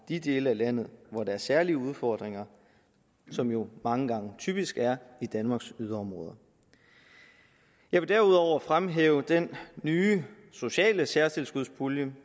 de dele af landet hvor der er særlige udfordringer som jo mange gange typisk er i danmarks yderområder jeg vil derudover fremhæve den nye sociale særtilskudspulje